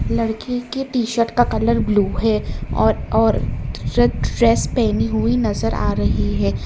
लड़की के T shirt का कलर ब्लू है और और रेड ड्रेस पहनी हुई नजर आ रही है।